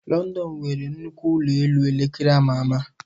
London nwere nnukwu ụlọ elu elekere ama ama.